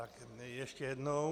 Tak ještě jednou.